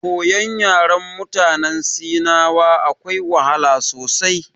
Koyon yaren mutanen sinawa akwai wahala sosai.